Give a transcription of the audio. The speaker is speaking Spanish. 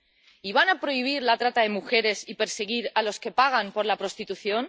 ¿Y van a prohibir la trata de mujeres y perseguir a los que pagan por la prostitución?